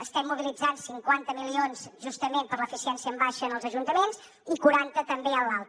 estem mobilitzant cinquanta milions justament per l’eficiència en baixa en els ajuntaments i quaranta també en l’alta